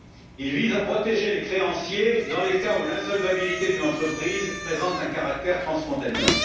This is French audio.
Il vise à protéger les créanciers dans les cas où l'insolvabilité d'une entreprise présente un caractère transfrontalier.